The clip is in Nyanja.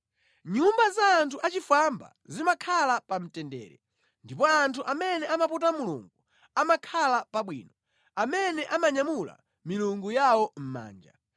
Nyumba za anthu achifwamba zimakhala pa mtendere, ndipo anthu amene amaputa Mulungu amakhala pabwino, amene amanyamula milungu yawo mʼmanja.